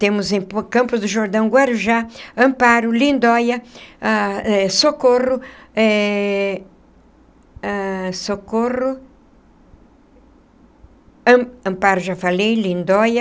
Temos em Campos do Jordão, Guarujá, Amparo, Lindóia ãh, Socorro eh ah Socorro, Amparo, já falei, Lindóia,